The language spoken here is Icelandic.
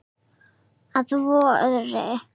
Að vori.